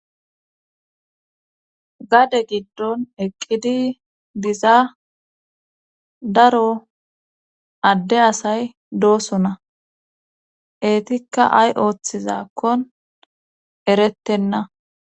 Gade giddon eqqidi diza daro adde asay dooso na eetikka ay ooththizakkon erettenna